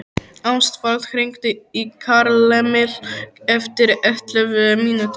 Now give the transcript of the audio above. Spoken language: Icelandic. Ástvald, hringdu í Karlemil eftir ellefu mínútur.